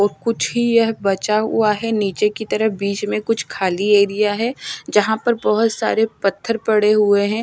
और कुछ ही यह बचा हुआ है नीचे की तरफ बीच में कुछ खाली एरिया है यहां पर बहुत सारे पत्थर पड़े हुए हैं।